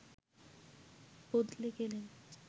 বদলে গেলেন